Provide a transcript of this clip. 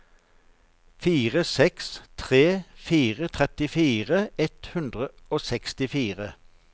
fire seks tre fire trettifire ett hundre og sekstifire